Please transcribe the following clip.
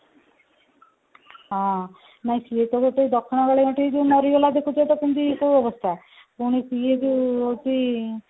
ହଁ ନାଇଁ ସେ ତ ଗୋଟେ ଦକ୍ଷିଣକାଳିଙ୍କଠି ଯୋଉ ମରିଗଲା ଦେଖୁଛ ତ କେମିତି ତ ଅବସ୍ଥା ପୁଣି ସିଏ ଯୋଉ ହଉଛି